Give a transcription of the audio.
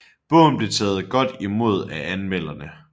Bogen blev taget godt imod af anmelderne